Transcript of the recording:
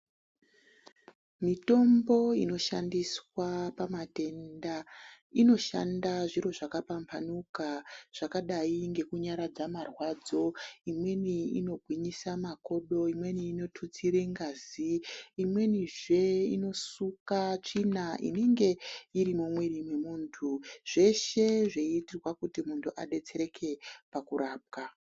Mitombo inoshandiswa pamatenda inoshanda zviro zvakapambanuka zvakadayi nekunyaradza marwadzo, imweni inogwinyisa makodo imweni inotutsire ngazi. Imwenizve inosuka tsvina inenge iri mumwiri mwemuntu zveshe zveyiita kuti muntu adetsereke pakurapwa.